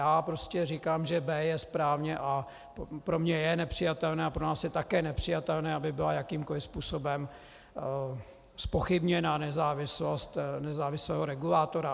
Já prostě říkám, že b) je správně, a pro mě je nepřijatelné a pro nás je také nepřijatelné, aby byla jakýmkoli způsobem zpochybněna nezávislost nezávislého regulátora.